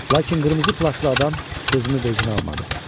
Lakin qırmızı plaşlı adam sözümü vecinə almadı.